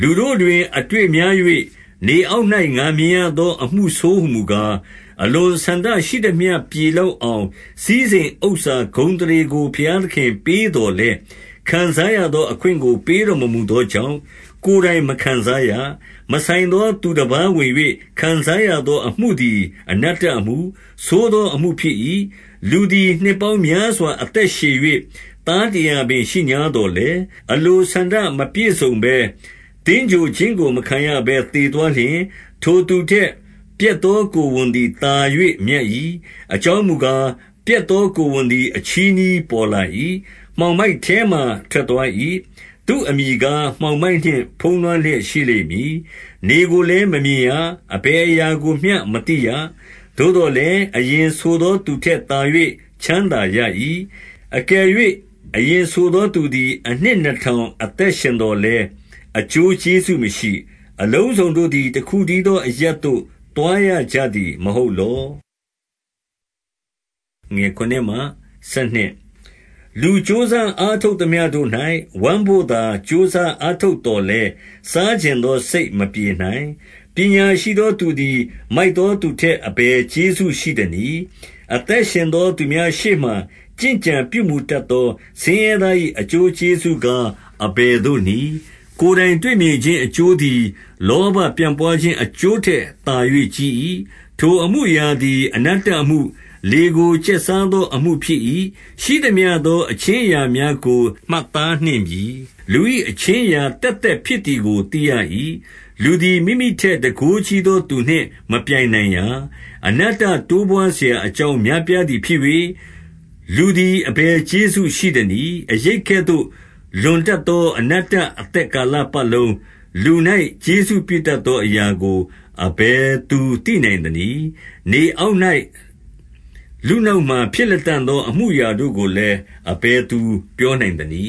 လူတို့တွင် အတွေ့များ၍၊ နေအောက်၌ ငါမြင်ရ သော အမှုဆိုးဟူမူကား၊ 2 အလိုဆန္ဒရှိသမျှပြေလောက်အောင် စည်းစိမ် ဥစ္စာဂုဏ်အသရေကို ဘုရားသခင်ပေးသော်လည်း၊ ခံစား ရသောအခွင့်ကို ပေးတော်မမူသောကြောင့်၊ ကိုယ်တိုင် မခံစားရ။ မဆိုင်သော သူတပါးဝင်၍ ခံစားရသောအမှု သည် အနတ္တအမှု၊ ဆိုးသောအမှု ဖြစ်၏။ 3 လူသည် နှစ်ပေါင်းများစွာ အသက်ရှည်၍၊ သားတရာပင် ရှိငြားသော်လည်း၊ အလိုဆန္ဒမပြည့်စုံဘဲ၊ သင်္ဂြိုဟ်ခြင်းကို မခံရဘဲ သေသွားလျှင်၊ ထိုသူထက် ပျက်သောကိုယ်ဝန်သည်သာ၍ မြတ်၏။ 4 အကြောင်းမူကား၊ ပျက်သော ကိုယ်ဝန်သည် အချည်းနှီးပေါ်လာ၏။ မှောင်မိုက်ထဲမှာ ထွက်သွား၏။ သူ့အမည်ကား၊ မှောင်မိုက်နှင့်ဖုံးလွှမ်းလျက် ရှိလိမ့်မည်။ 5 နေကိုလည်းမမြင်ရ။ အဘယ်အရာကိုမျှမသိရ။ သို့သော်လည်း၊ အရင်ဆိုသောသူထက်သာ၍ ချမ်းသာ ရ၏။ 6 အကယ်၍ အရင်ဆိုသော သူသည် အနှစ် နှစ်ထောင်အသက်ရှင်သော်လည်း၊ အကျိုးကျေးဇူးမရှိ။ အလုံးစုံတို့သည် တခုတည်းသောအရပ်သို့ သွားရကြသည် မဟုတ်လော။ 7 လူကြိုးစားအားထုတ်သမျှတို့၌ ဝမ်းဘို့သာ ကြိုးစားအားထုတ်သော်လည်း၊ စားချင်သော စိတ်မပြေ နိုင်။ 8 ပညာရှိသော သူသည် မိုက်သောသူထက် အဘယ်ကျေးဇူးရှိသနည်း။ အသက်ရှင်သောသူများရှေ့ မှာ ကျင့်ကြံပြုမူတတ်သော ဆင်းရဲသား၏ အကျိုးကျေးဇူး ကား အဘယ်သို့နည်း။ 9 ကိုယ်တိုင်တွေ့မြင်ခြင်း အကျိုးသည် လောဘ ပြန့်ပွားခြင်း အကျိုးထက်သာ၍ ကြီး၏။ ထိုအမှုအရာ သည် အနတ္တအမှု၊ လေကိုကျက်စားသောအမှုဖြစ်၏။ 10 ရှိသမျှသော အခြင်းအရာများကို မှတ်သား နှင့်ပြီ။ လူ၏အခြင်းအရာသက်သက်ဖြစ်သည်ကို သိရ၏။ လူသည် မိမိထက် တန်ခိုးကြီးသောသူနှင့် မပြိုင်နိုင်ရာ။ 11 အနတ္တတိုးပွားစရာအကြောင်း များပြားသည် ဖြစ်၍၊ လူသည် အဘယ်ကျေးဇူးရှိသနည်း။ 12 အရိပ်အကဲသို့ လွန်တတ်သော အနတ္တအသက် ကာလပတ်လုံး၊ လူ၌ကျေးဇူးပြုတတ်သောအရာကို အဘယ်သူသိနိုင်သနည်း။ နေအောက်၌ လူနောက်မှာ ဖြစ်လတံ့သော အမှုအရာတို့ကိုလည်း၊ အဘယ်သူပြော နိုင်သနည